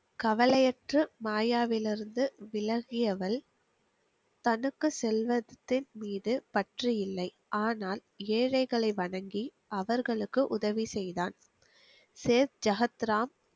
கவலையற்று மாயாவியில் இருந்து விலகியவள் தனக்கு செல்வத்தின் மீது பற்று இல்லை ஆனால் ஏழைகளை வணங்கி அவர்களுக்கு உதவி செய்தான் சேத்ஜகத்துராம்